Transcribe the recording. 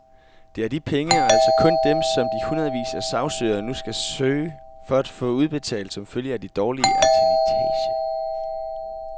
Det er de penge, og altså kun dem, som de hundredvis af sagsøgere nu skal søge at få udbetalt som følge af de dårlige eternittage.